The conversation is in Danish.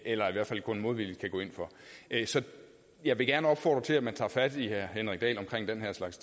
eller i hvert fald kun modvilligt kan gå ind for så jeg vil gerne opfordre til at man tager fat i herre henrik dahl om den her slags